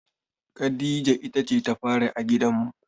Khadija ita ce ta fari a gidanmu.